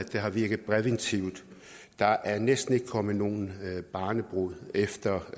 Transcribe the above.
har virket præventivt der er næsten ikke kommet nogen barnebrude efter